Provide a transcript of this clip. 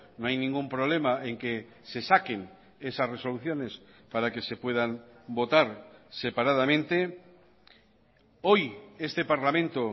no hay ningún problema en que se saquen esas resoluciones para que se puedan votar separadamente hoy este parlamento